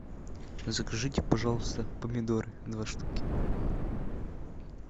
закажите пожалуйста помидоры два штуки